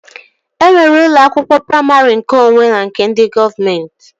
E nwere ụlọ akwụkwọ praimarị nkeonwe na nke ndị gọọmenti